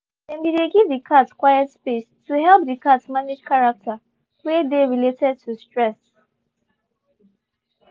they been dey give the cat quiet space to help the cat manage character wey dey related to stress.